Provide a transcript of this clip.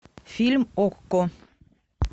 фильм окко